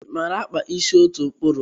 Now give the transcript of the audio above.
I maara akpa ịsị ọtukwuru?